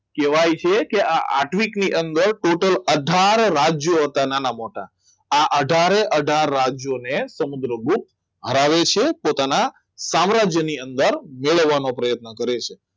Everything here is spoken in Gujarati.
કહેવાય છે કે આ આત્વિકની અંદર ટોટલ અથાર રાજ્યો હતા નાના મોટા આ અથાર એ અથાર રાજ્યોને સમુદ્રગુપ્ત હરાવે છે પોતાના સામ્રાજ્યની અંદર મેળવવાનો પ્રયત્ન કરે છે